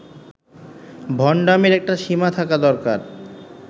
ভন্ডামীর একটা সীমা থাকা দরকার